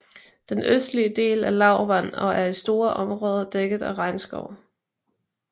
Den østlige del er lavland og er i store områder dækket af regnskov